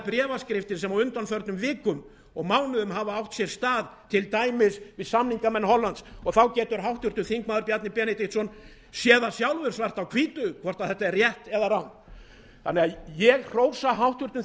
bréfaskriftir sem á undanförnum vikum og mánuðum hafa átt sér stað til dæmis við samningamenn hollands og þá getur háttvirtur þingmaður bjarni benediktsson séð það sjálfur svart á hvítu hvort þetta er rétt eða rangt þannig að ég hrósa háttvirtum